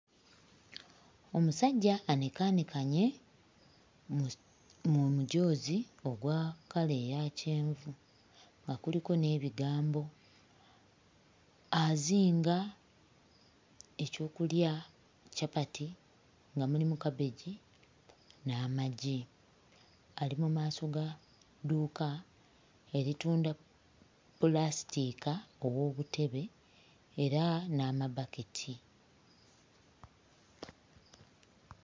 Omusajja anekaanekanye mu mujoozi ogwa kkala eya kyenvu nga kuliko n'ebigambo. Azinga ekyokulya capati nga mulimu kabegi n'amagi. Ali mu maaso ga dduuka eritunda pulasitiika ow'obutebe era n'amabaketi.